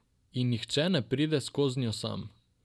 In nihče ne pride skoznjo sam.